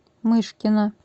мышкина